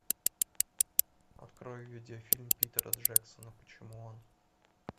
открой видеофильм питера джексона почему он